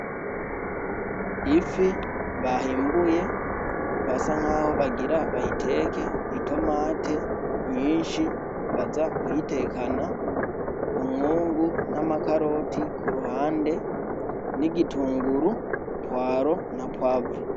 Ifi bahimbuye basa nkaho bagira bayiteke itomati nyinshi baza kuyitekana umwungu n'amakaroti k'uruhande n'igitunguru, pwaro na pwavro .